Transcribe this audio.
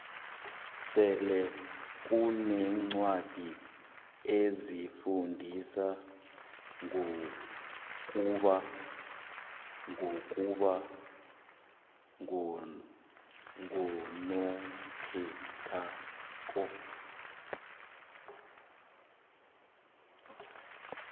selekunencwadi ezifundisa ngokuba ngokuba ngonokhethwako